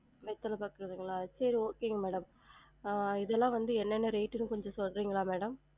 வெத்தல பாக்கு இல்லங்களா? சரி okay ங்க madam அஹ் இதெல்லாம் வந்து எனென்ன rate ன்னு கொஞ்சம் சொல்றிங்களா madam?